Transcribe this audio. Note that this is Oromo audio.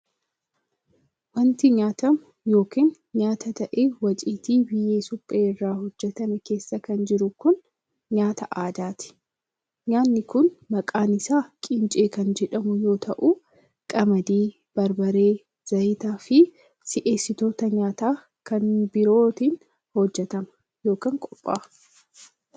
Wanti nyaatamu yokin nyaata ta'e waciitii biyyee suphee irraa hojjatame keessa jiru kun, nyaata aadaati. Nyaanni kun maqaan isaa qincee kan jedhamu yoo ta'u, qamadii, barbarree, zayita fi si'eessitoota nyaataa kan birootin hojjatama yokin qopha'a.